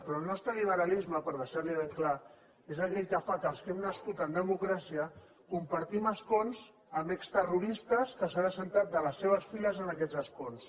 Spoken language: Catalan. però el nostre liberalisme per deixar li ho ben clar és aquell que fa que els que hem nascut en democràcia compartim escons amb exterroristes que s’han assegut de les seves files en aquest escons